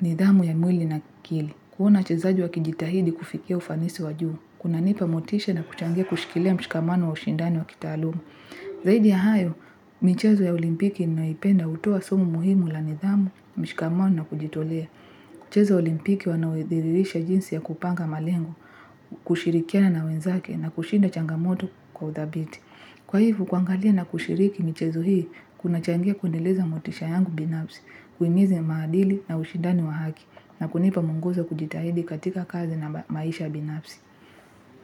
nidhamu ya mwili na kili. Kuona wachezaji wa kijitahidi kufikia ufanisi wajuu. Kuna nipa motisha na kuchangia kushikilia mshikamano wa ushindani wa kitaalumu. Zaidi ya hayo, michezo ya olimpiki ninayoipenda hutuoa sumu muhimu la nidhamu, mshikamano na kujitolea. Mchezo olimpiki wanaoidhirisha jinsi ya kupanga malengo. Kushirikiana na wenzake na kushinda changamoto kwa uthabiti. Kwa hivyo, kwangalia na kushiriki michezo hii kuna changia kuendeleza motisha yangu binafsi, kuimiza maadili na ushidani wa haki na kunipa mwongozo wa kujitahidi katika kazi na maisha binafsi.